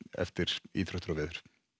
eftir íþróttir og veður